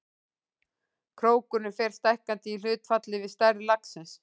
Krókurinn fer stækkandi í hlutfalli við stærð laxins.